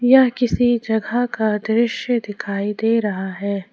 यह किसी जगह का दृश्य दिखाई दे रहा है।